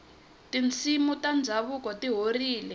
tinsimu ta ndhavuko ti horile